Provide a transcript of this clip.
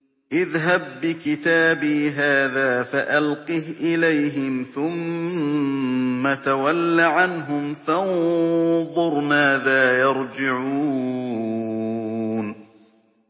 اذْهَب بِّكِتَابِي هَٰذَا فَأَلْقِهْ إِلَيْهِمْ ثُمَّ تَوَلَّ عَنْهُمْ فَانظُرْ مَاذَا يَرْجِعُونَ